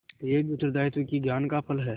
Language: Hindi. यह भी उत्तरदायित्व के ज्ञान का फल है